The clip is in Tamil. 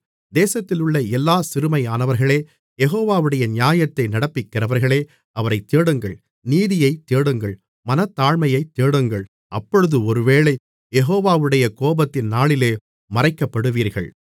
தேசத்திலுள்ள எல்லாச் சிறுமையானவர்களே யெகோவாவுடைய நியாயத்தை நடப்பிக்கிறவர்களே அவரைத் தேடுங்கள் நீதியைத் தேடுங்கள் மனத்தாழ்மையைத் தேடுங்கள் அப்பொழுது ஒருவேளை யெகோவாவுடைய கோபத்தின் நாளிலே மறைக்கப்படுவீர்கள்